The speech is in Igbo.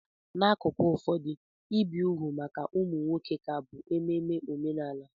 N'akụkụ ụfọdụ, ibi úgwù maka ụmụ nwoke ka bụ ememe omenala.